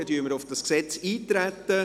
Somit treten wir auf dieses Gesetz ein.